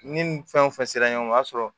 Ni nin fɛn o fɛn sera ɲɔgɔn ma o y'a sɔrɔ